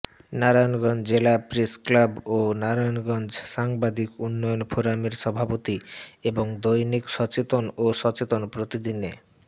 নারায়নগঞ্জ জেলা প্রেসক্লাব ও নারায়নগঞ্জ সাংবাদিক উন্নয়ন ফোরামের সভাপতি এবং দৈনিক সচেতন ও সচেতন প্রতিদিনে